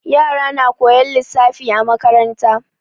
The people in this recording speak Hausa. Yara na koyan lissafi a makaranta.